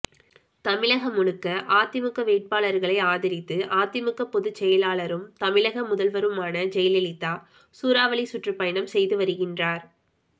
தமிழகம் முழுக்க அதிமுக வேட்பாளர்களை ஆதரித்து அதிமுக பொதுச் செயலாளரும் தமிழக முதல்வருமான ஜெயலலிதா சூறாவளி சுற்றுப்பயணம் செய்து வருகின்றார்